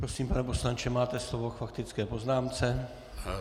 Prosím, pane poslanče, máte slovo k faktické poznámce.